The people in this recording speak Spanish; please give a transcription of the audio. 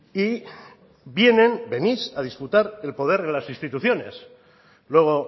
y vienen venís a disputar el poder en las instituciones luego